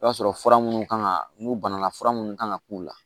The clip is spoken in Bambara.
I b'a sɔrɔ fura minnu kan ka n'u banala fura munnu kan ka k'u la